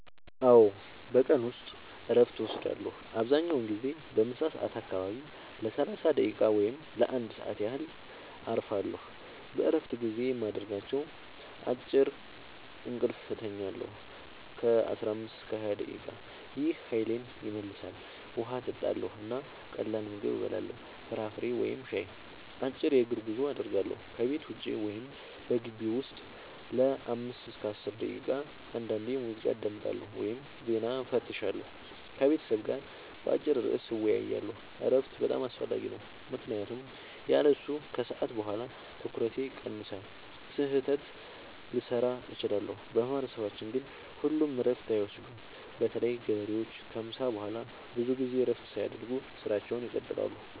አዎ፣ በቀን ውስጥ እረፍት እወስዳለሁ። አብዛኛውን ጊዜ በምሳ ሰዓት አካባቢ ለ30 ደቂቃ ወይም ለ1 ሰዓት ያህል እረፋለሁ። በእረፍት ጊዜዬ የማደርጋቸው፦ · አጭር እንቅልፍ እተኛለሁ (15-20 ደቂቃ) – ይህ ኃይሌን ይመልሳል። · ውሃ እጠጣለሁ እና ቀላል ምግብ እበላለሁ (ፍራፍሬ ወይም ሻይ)። · አጭር የእግር ጉዞ አደርጋለሁ – ከቤት ውጭ ወይም በግቢው ውስጥ ለ5-10 ደቂቃ። · አንዳንዴ ሙዚቃ አዳምጣለሁ ወይም ዜና እፈትሻለሁ። · ከቤተሰብ ጋር በአጭር ርዕስ እወያያለሁ። እረፍት በጣም አስፈላጊ ነው ምክንያቱም ያለሱ ከሰዓት በኋላ ትኩረቴ ይቀንሳል፣ ስህተት ልሠራ እችላለሁ። በማህበረሰባችን ግን ሁሉም እረፍት አይወስዱም – በተለይ ገበሬዎች ከምሳ በኋላ ብዙ ጊዜ እረፍት ሳያደርጉ ሥራቸውን ይቀጥላሉ።